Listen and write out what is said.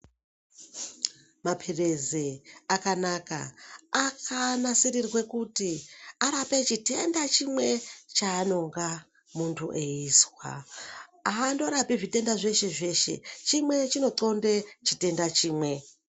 Mapirizi akanaka akanasirirwe kuti arape chitenda chimwe chaanonga muntu eizwa haandorapi zvitenda zveshe zveshe chimwe chinoxonde chitenda chimwe.